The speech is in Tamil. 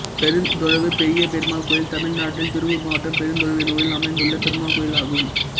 பெருந்தொழுவு பெரிய பெருமாள் கோயில் தமிழ்நாட்டில் திருப்பூர் மாவட்டம் பெருந்தொழுவு என்னும் ஊரில் அமைந்துள்ள பெருமாள் கோயிலாகும்